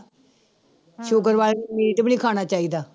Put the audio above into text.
Sugar ਵਾਲੇ ਨੂੰ meat ਵੀ ਨੀ ਖਾਣਾ ਚਾਹੀਦਾ।